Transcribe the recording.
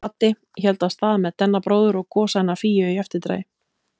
Baddi héldu af stað með Danna bróður og Gosa hennar Fíu í eftirdragi.